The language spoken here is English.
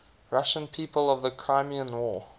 russian people of the crimean war